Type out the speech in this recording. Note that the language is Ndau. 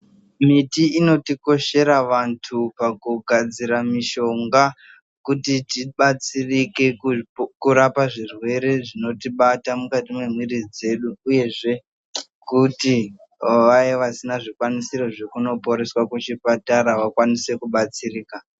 Miti inotikoshera antu pakugadzira mushonga kuti tibatsirike kurapa zvirwere zvinotibata mukati mwemwiri dzedu uyezve kuti vaya vasina zvikwanisisro zvekuno poreswa kuchipatara vakwanise kunobatsirika.